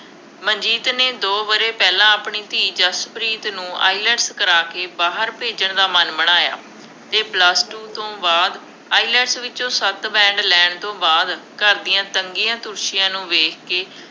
ਮਨਜੀਤ ਨੇ ਦੋ ਵਰ੍ਹੇ ਪਹਿਲਾਂ ਆਪਣੀ ਧੀ ਜਸਪ੍ਰੀਤ ਨੂੰ IELTS ਕਰਾ ਕੇ ਬਾਹਰ ਭੇਜਣ ਦਾ ਮਨ ਬਣਾਇਆ ਅਤੇ Plus Two ਤੋਂ ਬਾਅਦ IELTS ਵਿੱਚੋਂ ਸੱਤ band ਲੈਣ ਤੋਂ ਬਾਅਦ, ਘਰ ਦੀਆ ਤੰਗੀਆਂ ਤੋਸ਼ੀਆਂ ਨੂੰ ਵੇਖ ਕੇ,